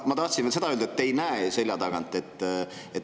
Ma tahtsin veel seda öelda, et te ei näinud Annely selja tagant.